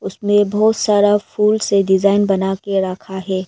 मे बहुत सारा फूल से डिजाइन बनाके रखा है।